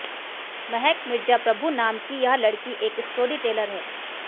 महक मिर्जा प्रभु नाम की यह लड़की एक स्टोरी टेलर हैं